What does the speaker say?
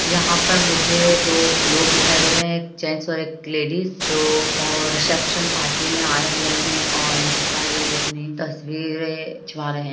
यहाँ पर मुझे दो लोग दिखाई दे रहें हैं एक जेंट्स और एक लेडिस जो और रिसेप्शन पार्टी में आए हुए हैं और यहाँ पर ये अपनी तस्वीर खिंचवा रहें हैं।